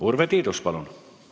Urve Tiidus, palun!